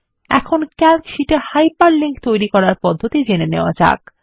এখন ক্যালক শীটে হাইপারলিঙ্ক তৈরি করার পদ্ধতি জানা যাক